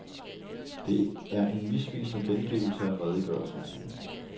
Det er en misvisende gengivelse af redegørelsen.